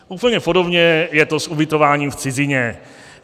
Úplně podobně je to s ubytováním v cizině.